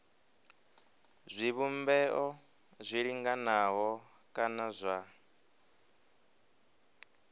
zwivhumbeo zwi linganaho kana zwa